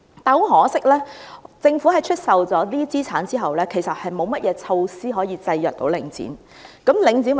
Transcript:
很可惜，政府在出售這些資產後，其實沒有任何措施可以制約領展。